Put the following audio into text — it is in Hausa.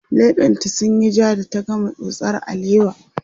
leɓen ta sunyi jaa da ta gama tsotsar alewa